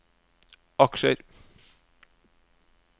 aksjer